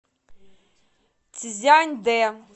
цзяньдэ